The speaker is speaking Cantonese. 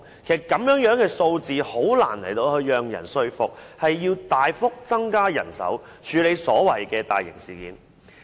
這樣的數字很難說服市民，需要大幅增加人手，處理所謂的大型事件。